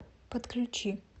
подключи